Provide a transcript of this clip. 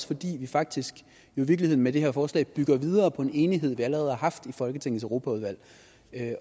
fordi vi faktisk i virkeligheden med det her forslag bygger videre på en enighed vi allerede har haft i folketingets europaudvalg